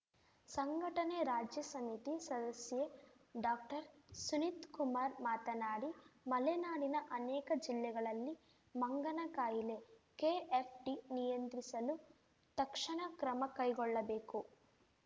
ಸಂಘಟನೆ ರಾಜ್ಯ ಸಮಿತಿ ಸದಸ್ಯೆ ಡಾಕ್ಟರ್ಸುನಿತ್‌ಕುಮಾರ್ ಮಾತನಾಡಿ ಮಲೆನಾಡಿನ ಅನೇಕ ಜಿಲ್ಲೆಗಳಲ್ಲಿ ಮಂಗನ ಕಾಯಿಲೆಕೆಎಫ್‌ಡಿ ನಿಯಂತ್ರಿಸಲು ತಕ್ಷಣ ಕ್ರಮ ಕೈಗೊಳ್ಳಬೇಕು